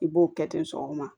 I b'o kɛ ten sɔgɔma